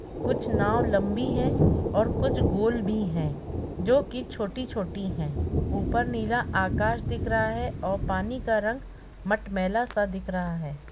कुछ नाव लंबी है और कुछ गोल भी है जो कि छोटी-छोटी हैं ऊपर नीला आकाश दिख रहा है और पानी का रंग मटमैला सा दिख रहा है।